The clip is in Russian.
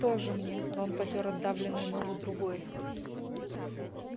тоже мне рон потёр отдавленную ногу другой